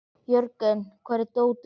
Jörgen, hvar er dótið mitt?